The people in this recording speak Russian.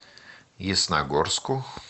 ясногорску